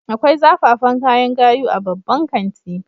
Akwai zafafan kayan gayu a babban kanti